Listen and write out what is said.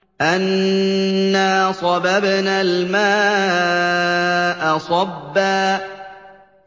أَنَّا صَبَبْنَا الْمَاءَ صَبًّا